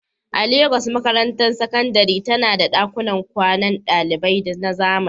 A Legas, makarantar sakandare tana da ɗakunan kwanan ɗalibai na zamani.